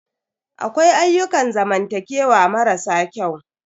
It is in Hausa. Akwai ayyukan zamantakewa mara sa kyau.